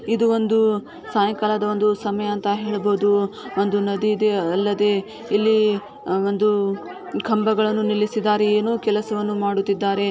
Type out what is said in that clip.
ಇದು ಒಂದು ಸಾಯಂಕಾಲದ ಒಂದು ಸಮಯ ಅಂತ ಹೇಳಬೋದು ಒಂದು ನದಿ ಇದೆ ಅಲ್ಲದೆ ಇಲ್ಲಿ ಒಂದು ಕಂಬಗಳನ್ನು ನಿಲ್ಲಿಸಿದ್ದಾರೆ ಏನೋ ಕೆಲಸವನ್ನ ಮಾಡುತ್ತಿದ್ದಾರೆ.